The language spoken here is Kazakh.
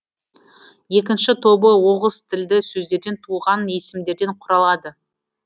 екінші тобы оғыз тілді сөздерден туған есімдерден құралады